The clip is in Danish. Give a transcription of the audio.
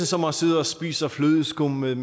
som at sidde og spise flødeskum med